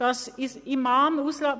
– Das ist der Fall.